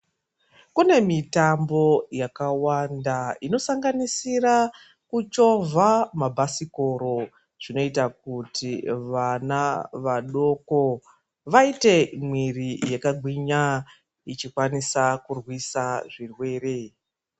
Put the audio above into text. Kune mitambo yakawanda inosanganisiraa kuchovhaa mabhasikoro zvinoita kuti vana vadoko vaite miiri yakagwinya ichikwanisa kurwisaa zvirwere.